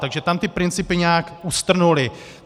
Takže tam ty principy nějak ustrnuly.